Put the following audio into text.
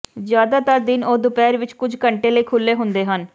ਜ਼ਿਆਦਾਤਰ ਦਿਨ ਉਹ ਦੁਪਹਿਰ ਵਿਚ ਕੁਝ ਘੰਟੇ ਲਈ ਖੁੱਲ੍ਹੇ ਹੁੰਦੇ ਹਨ